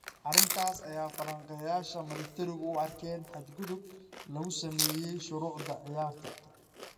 Arrintaas ayay falanqeeyayaasha milatarigu u arkeen "xad-gudub lagu sameeyay shuruucda ciyaarta".